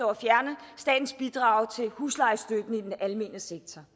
at fjerne statens bidrag til huslejestøtten i den almene sektor